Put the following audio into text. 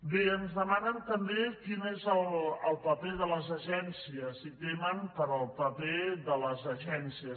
bé ens demanen també quin és el paper de les agències i temen pel paper de les agències